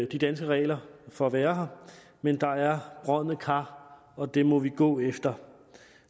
de danske regler for at være her men der er brodne kar og dem må vi gå efter